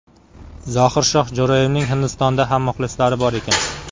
Zohirshoh Jo‘rayevning Hindistonda ham muxlislari bor ekan.